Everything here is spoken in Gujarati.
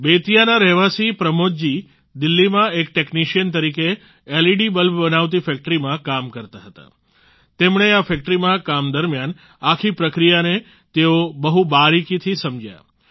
બેતિયાના રહેવાસી પ્રમોદ જી દિલ્હીમાં એક ટેક્નિશિયન તરીકે એલઈડી બલ્બ બનાવતી ફેક્ટરીમાં કામ કરતા હતા તેમણે આ ફેક્ટરીમાં કામ દરમિયાન આખી પ્રક્રિયાને તેઓ બહુ બારીકીથી સમજ્યા